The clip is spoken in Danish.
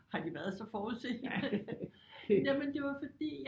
Har de været så forudseende jamen det var fordi